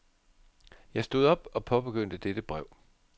Jeg stod op og påbegyndte dette brev.